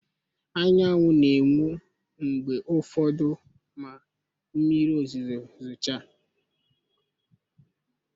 Anyanwụ na-enwu mgbe ụfọdụ ma mmiri ozuzo zochaa